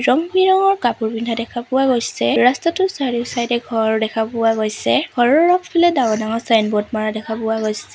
ৰঙ-বিৰঙৰ কাপোৰ পিন্ধা দেখা পোৱা গৈছে ৰাস্তাটোৰ চাৰিও চাইডে ঘৰ দেখা পোৱা গৈছে ঘৰৰ আগফালে ডাঙৰ ডাঙৰ চাইনব'ৰ্ড মাৰা দেখা পোৱা গৈছে।